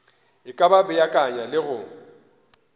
e ka beakanya le go